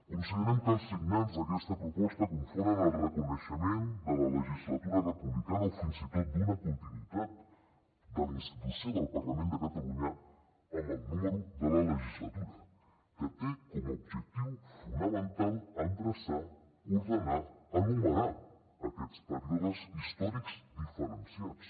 considerem que els signants d’aquesta proposta confonen el reconeixement de la legislatura republicana o fins i tot d’una continuïtat de la institució del parlament de catalunya amb el número de la legislatura que té com a objectiu fonamental endreçar ordenar enumerar aquests períodes històrics diferenciats